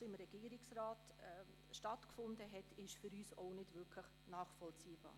Weshalb es im Regierungsrat einen Richtungswechsel gegeben hat, ist für uns nicht wirklich nachvollziehbar.